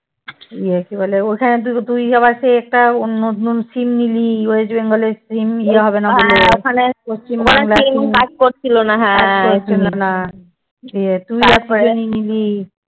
ইয়ে কি বলে? ওখানে তুই আবার সেই একটা অন্য নতুন SIM নিলি। west bengal এর SIM নিলি হবেনা বলে। কাজ করছিলনা দিয়ে তুই নিয়ে নিলি।